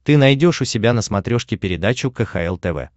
ты найдешь у себя на смотрешке передачу кхл тв